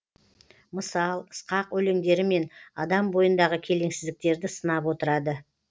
мысал сықақ өлеңдерімен адам бойындағы келеңсіздіктерді сынап отырады